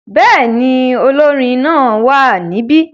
Bẹ́ẹ̀ ni, olórin náà wà níbí.